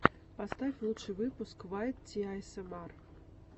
поставь лучший выпуск вайт ти аэсэмар